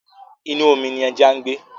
Inú omi ní ẹja ń gbé.